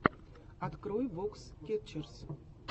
открой вокс кетчерз